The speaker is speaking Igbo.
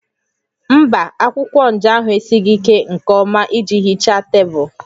Mba, akwụkwọ nja ahụ esighị ike nke ọma iji hichaa tebụl